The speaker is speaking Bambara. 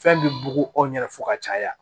Fɛn bɛ bugun aw ɲɛna fo ka caya